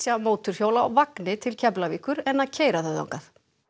mótorhjól á vagni til Keflavíkur en að keyra þau þangað